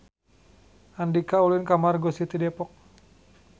Andika ulin ka Margo City Depok